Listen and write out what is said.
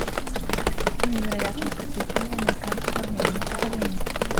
невероятные приключения американцев в армении покажи мне